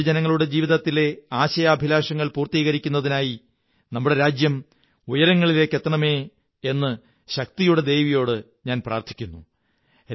രാജ്യത്തെ പൊതുജനങ്ങളുടെ ജീവിതത്തിലെ ആശയാഭിലാഷങ്ങൾ പൂര്ത്തീ കരിക്കുന്നതിനായി നമ്മുടെ രാജ്യം ഉയരങ്ങളിലേക്കെത്തണമേ എന്ന് ശക്തിയുടെ ദേവിയോട് ഞാൻ പ്രാര്ഥി ക്കുന്നു